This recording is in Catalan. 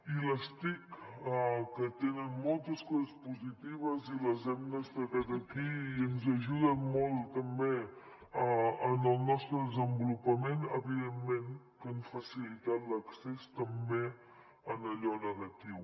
i les tic que tenen moltes coses positives i les hem destacat aquí i ens ajuden molt també en el nostre desenvolupament evidentment que han facilitat l’accés també a allò negatiu